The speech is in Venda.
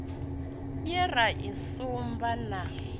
ye ra i sumba na